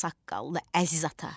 Ağsaqqallı, əziz ata!